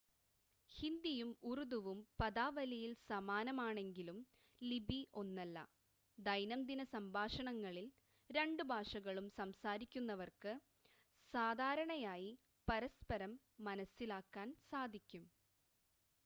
ഹിന്ദിയും ഉറുദുവും പദാവലിയിൽ സമാനമാണെങ്കിലും ലിപി ഒന്നല്ല ദൈനംദിന സംഭാഷണങ്ങളിൽ രണ്ട് ഭാഷകളും സംസാരിക്കുന്നവർക്ക് സാധാരണയായി പരസ്പരം മനസ്സിലാക്കാൻ സാധിക്കും